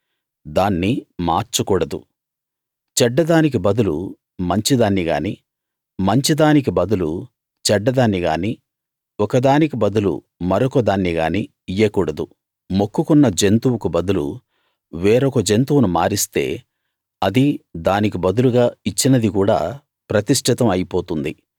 దాన్ని మార్చకూడదు చెడ్డదానికి బదులు మంచిదాన్ని గానీ మంచిదానికి బదులు చెడ్డదాన్ని గానీ ఒక దానికి బదులు మరొక దాన్నిగానీ ఇయ్యకూడదు మొక్కుకున్న జంతువుకు బదులు వేరొక జంతువును మారిస్తే అదీ దానికి బదులుగా ఇచ్చినదీ కూడా ప్రతిష్ఠితం అయిపోతుంది